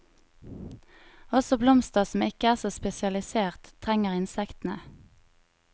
Også blomster som ikke er så spesialisert, trenger insektene.